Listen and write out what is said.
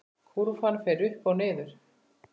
Kúrfan fer upp og niður.